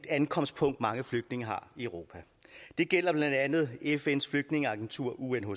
ankomstpunkt mange flygtninge har i europa det gælder blandt andet fns flygtningeagentur unhcr